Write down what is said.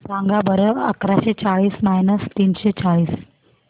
सांगा बरं अकराशे चाळीस मायनस तीनशे चाळीस